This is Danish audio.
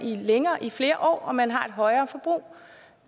i flere år og man har et højere forbrug